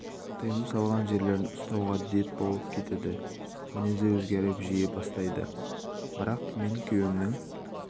тыйым салған жерлерін ұстауға дет болып кетеді кейін мінезі өзгеріп жіби бастайды бірақ мен күйеуімнің